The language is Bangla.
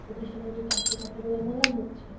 প্রতিষ্ঠানে যে চাকরির কথা গুলো বলা হচ্ছে